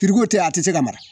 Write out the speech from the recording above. tɛ a tɛ se ka mara